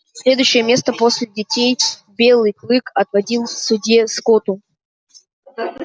следующее место после детей белый клык отводил судье скотту